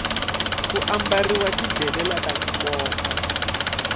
ku ambarhiwa ti delela taku koma